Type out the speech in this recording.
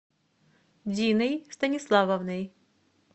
диной станиславовной